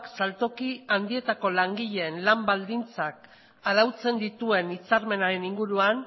saltoki handietako langileen lan baldintzak arautzen dituen hitzarmenaren inguruan